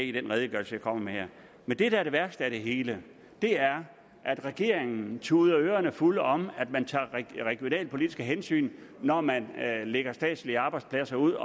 i den redegørelse jeg kommer med her men det der er det værste af det hele er at regeringen tuder os ørerne fulde om at man tager regionalpolitiske hensyn når man lægger statslige arbejdspladser ud